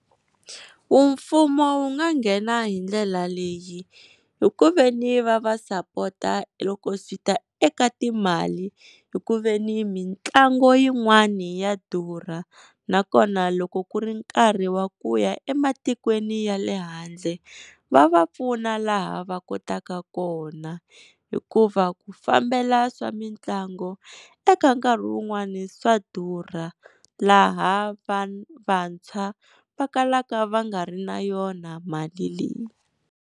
Mfumo wu nga nghena hi ndlela leyi hi ku veni va va sapota loko swi ta eka timali, hi ku veni mitlango yin'wani ya durha, nakona loko ku ri nkarhi wa ku ya ematikweni ya le handle va va pfuna laha va kotaka kona, hikuva ku fambela ka mitlangu eka nkarhi wun'wani swa durha laha va vantshwa vakalaka va nga ri na yona mali leyi.